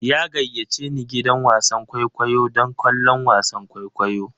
Ya gayyace ni gidan wasan kwaikwayo don kallon wasan kwaikwayo.